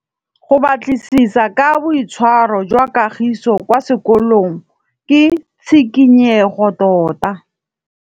Go batlisisa ka boitshwaro jwa Kagiso kwa sekolong ke tshikinyêgô tota.